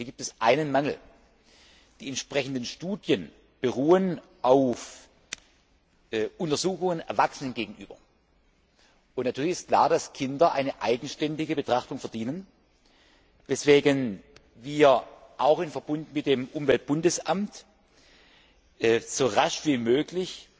Hier gibt es einen Mangel Die entsprechenden Studien beruhen auf Untersuchungen mit Erwachsenen. Natürlich ist klar, dass Kinder eine eigenständige Betrachtung verdienen, weswegen wir auch im Verbund mit dem Umweltbundesamt so rasch wie möglich